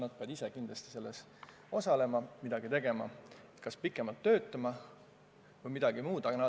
Nad peavad ise kindlasti selles osalema, midagi tegema, kas pikemalt töötama või midagi muud ette võtma.